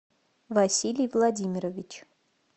василий владимирович